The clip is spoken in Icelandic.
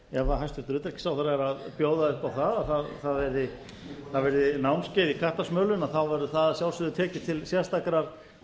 ef hæstvirtur utanríkisráðherra er að bjóða upp á að það verði námskeið í kattasmölun verður það að sjálfsögðu tekið til sérstakrar